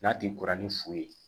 N'a ti kɔrɔ ni fu ye